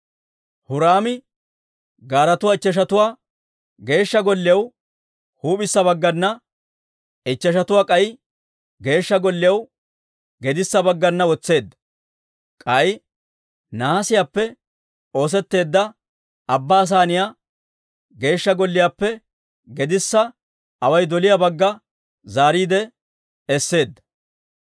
Huraami gaaretuwaa ichcheshatuwaa Geeshsha Golliyaw huup'issa baggana, ichcheshatuwaa k'ay Geeshsha Golliyaw gedissa baggana wotseedda; k'ay nahaasiyaappe oosetteedda Abbaa Saaniyaa Geeshsha Golliyaappe gedissa away doliyaa bagga zaariide esseedda.